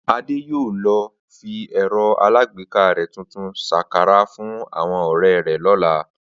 Adé yóò lo̩ fi è̩ro̩ alágbéká rè̩ tuntun s̩akará fún àwo̩n ò̩ré̩ rè̩ ló̩la